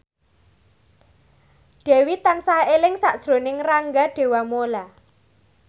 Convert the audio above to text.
Dewi tansah eling sakjroning Rangga Dewamoela